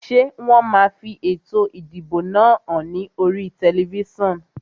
Ṣé wọn máa fi ètò ìdìbò náà hàn ní oríi tẹlifísàn?